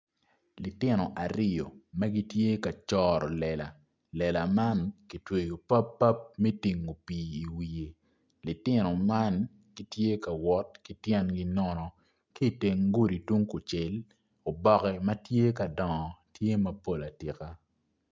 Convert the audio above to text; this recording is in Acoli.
Litino aryo ma gitye ka coro lela, lela man ki tyweyo pap pap me tingo pii iwiye litino man gitye ka wot ki tyengi nono ki itenge kudi tung kucel oboke ma tye ka dongo tye mapol atika.